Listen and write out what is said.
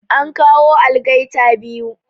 An kawo algaita biyu